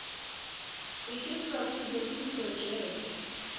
ho iketsetsa kuno le diprojeke